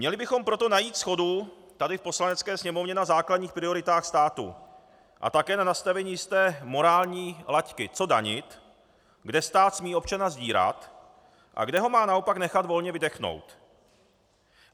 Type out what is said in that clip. Měli bychom proto najít shodu tady v Poslanecké sněmovně na základních prioritách státu a také na nastavení jisté morální laťky, co danit, kde stát smí občana sdírat a kde ho má naopak nechat volně vydechnout.